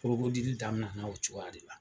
daminɛna o cogoya de la